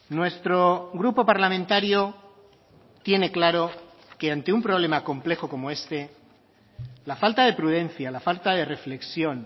nuestro grupo parlamentario tiene claro que ante un problema complejo como este la falta de prudencia la falta de reflexión